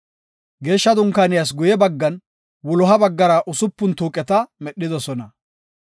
Geeshsha Dunkaaniyas guye baggan, wuloha baggara usupun tuuqeta medhidosona.